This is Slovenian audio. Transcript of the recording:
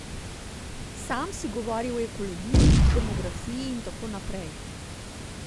Sam si govoril o ekologiji, demografiji in tako naprej.